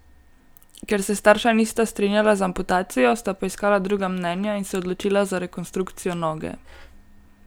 Ker se starša nista strinjala z amputacijo, sta poiskala druga mnenja in se odločila za rekonstrukcijo noge.